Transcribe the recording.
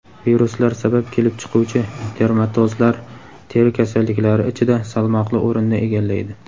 viruslar sabab kelib chiquvchi dermatozlar teri kasalliklari ichida salmoqli o‘rinni egallaydi.